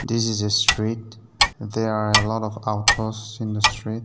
this is a street there are a lot of out house in the street.